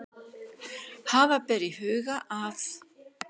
Hafa ber í huga að